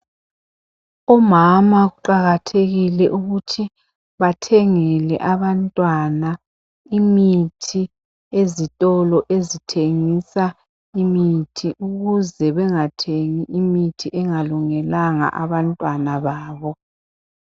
Omama kuqakathekile ukuthi bathengele abantwana imithi ezitolo ezithengisa imithi ukuze bengathengi imithi engalungelanga abantwana babo.